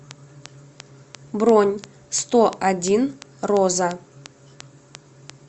бронь сто один роза